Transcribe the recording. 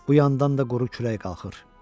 Bu yandan da quru külək qalxır.